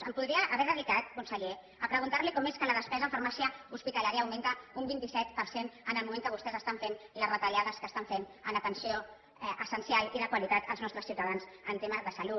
em podria haver dedicat conseller a preguntar li com és que la despesa en farmàcia hospitalària augmenta un vint set per cent en el moment que vostès estan fent les retallades que estan fent en atenció essencial i de qualitat als nostres ciutadans en temes de salut